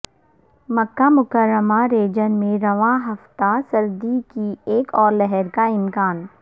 مکہ مکرمہ ریجن میں رواں ہفتہ سردی کی ایک اور لہر کا امکان